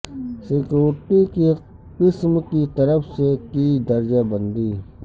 security کی قسم کی طرف سے کی درجہ بندی